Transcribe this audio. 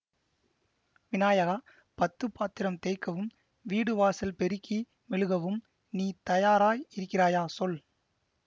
விநாயகா பத்து பாத்திரம் தேய்க்கவும் வீடு வாசல் பெருக்கி மெழுகவும் நீ தயாராய் இருக்கிறாயா சொல்